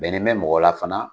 Bɛnnen bɛ mɔgɔ la fana